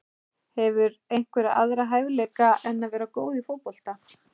Hefurðu einhverja aðra hæfileika en að vera góð í fótbolta?